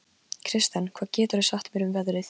Kirsten, hvað geturðu sagt mér um veðrið?